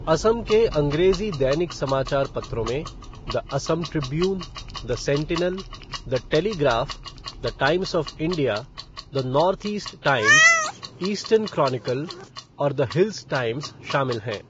असम के अंग्रेजी दैनिक समाचार पत्रों में the Assam Tribune, the Sentinel, the Telegraph, the Times of India, the North East Times, Eastern Chronicle और द हिल्स टाइम्स शामिल हैं।